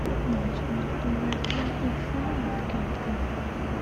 матч между лестером и саутгемптоном